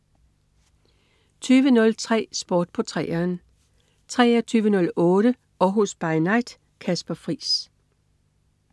20.03 Sport på 3'eren 23.08 Århus By Night. Kasper Friis